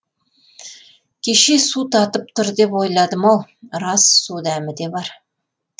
кеше су татып тұр деп ойладым ау рас су дәмі де бар